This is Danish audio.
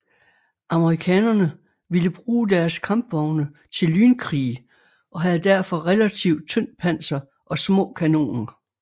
Amerikanerne ville bruge deres kampvogne til lynkrig og havde derfor relativt tyndt panser og små kanoner